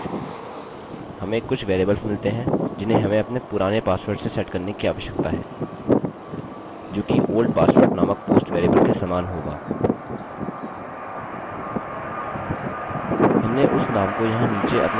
हमें कुछ वेरिएबल्स मिलती हैं जिन्हें हमें अपने पुराने पासवर्ड से सेट करने की आवश्यकता है जो कि old password नामक post वेरिएबल के समान होगा हमने उस नाम को यहाँ नीचे अपने फॉर्म में दिया है